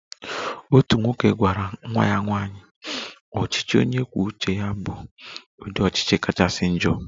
"Otu nwoke gwara nwa ya nwanyị, ""ọchịchị onye kwuo uche ya bụ ụdị ọchịchị kachasị njọ"""